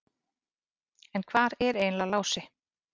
En hvar er eiginlega Lási?